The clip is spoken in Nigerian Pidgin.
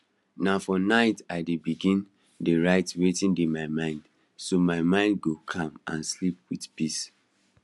na for night i begin dey write wetin dey my mind so my mind go calm and sleep with peace